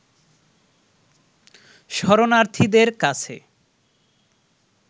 শরণার্থীদের কাছে